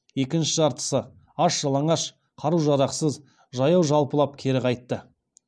екінші жартысы аш жалаңаш қару жарақсыз жаяу жалпылап кері қайтты